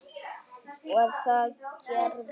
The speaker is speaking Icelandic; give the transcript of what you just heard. Og það gerði ég.